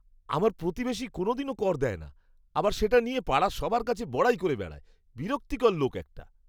আমার প্রতিবেশী কোনওদিনও কর দেয় না, আবার সেটা নিয়ে পাড়ার সবার কাছে বড়াই করে বেড়ায়। বিরক্তিকর লোক একটা!